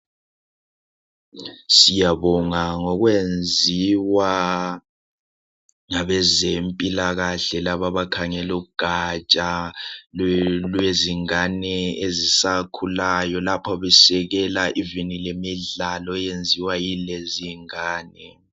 Siyabonga ngokwenziwa ngabezempilakahle laba abakhangela ugatsha lwezingane ezisakhulayo lapho besekela imidlalo eyenziwa yilezingane.